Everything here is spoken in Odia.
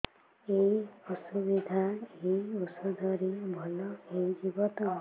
ଏଇ ଅସୁବିଧା ଏଇ ଔଷଧ ରେ ଭଲ ହେଇଯିବ ତ